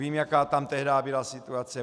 Vím, jaká tam tehdy byla situace.